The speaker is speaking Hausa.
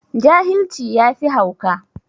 Jahilci yafi hauka.